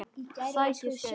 Sækir skæri.